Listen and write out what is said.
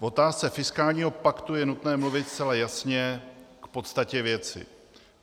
V otázce fiskálního paktu je nutné mluvit zcela jasně k podstatě věci.